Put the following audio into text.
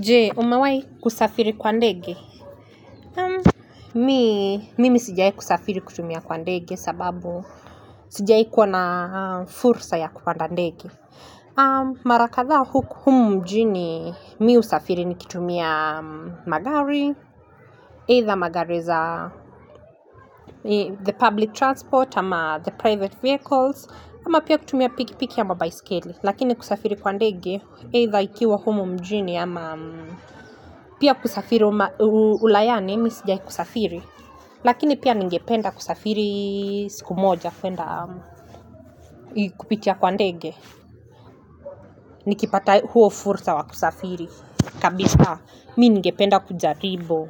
Je? Umewahi kusafiri kwa ndege? Mi, mimi sijawahi kusafiri kutumia kwa ndege sababu sijawahi kuwa na fursa ya kupanda ndege. Mara kadhaa huku humu mjini mi husafiri nikitumia magari, either magari za the public transport, ama the private vehicles, ama pia kutumia pikipiki ama baisikeli. Lakini kusafiri kwa ndege, either ikiwa humu mjini ama pia kusafiri ulayani, mi sijai kusafiri. Lakini pia ningependa kusafiri siku moja kuenda kupitia kwa ndege. Nikipata huo fursa wa kusafiri. Kabisa, mi ningependa kujaribu.